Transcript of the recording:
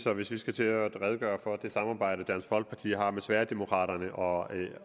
at hvis vi skal til at redegøre for det samarbejde dansk folkeparti har med sverigedemokraterna og